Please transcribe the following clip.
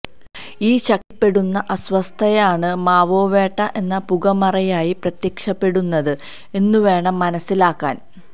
ഈ ശക്തിപ്പെടുന്ന അസ്വസ്ഥതയാണ് മാവോവേട്ട എന്ന പുകമറയായി പ്രത്യക്ഷപ്പെടുന്നത് എന്നുവേണം മനസ്സിലാക്കാന്